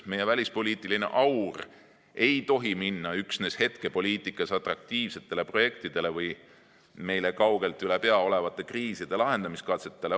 Meie välispoliitiline aur ei tohi minna üksnes hetkepoliitikas atraktiivsetele projektidele või meile kaugelt üle pea olevate kriiside lahendamise katsetele.